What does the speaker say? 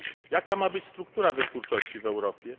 Jaka ma być struktura wytwórczości w Europie?